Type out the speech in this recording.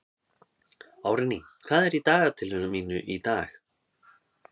Árný, hvað er í dagatalinu mínu í dag?